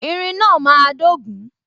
Irin náà máa dogun